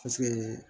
Paseke